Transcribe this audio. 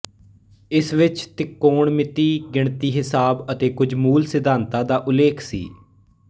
ਇਸ ਵਿੱਚ ਤਿਕੋਣਮਿਤੀ ਗਿਣਤੀ ਹਿਸਾਬ ਅਤੇ ਕੁਝ ਮੂਲ ਸਿਧਾਂਤਾਂ ਦਾ ਉਲੇਖ ਸੀ